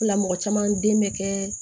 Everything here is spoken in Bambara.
O la mɔgɔ caman den bɛ kɛ